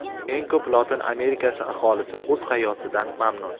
Eng ko‘p Lotin Amerikasi aholisi o‘z hayotidan mamnun.